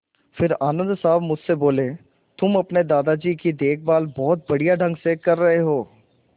फिर आनन्द साहब मुझसे बोले तुम अपने दादाजी की देखभाल बहुत बढ़िया ढंग से कर रहे हो